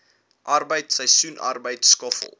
arbeid seisoensarbeid skoffel